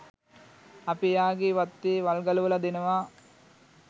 අපි එයාගේ වත්තේ වල් ගලවලා දෙනවා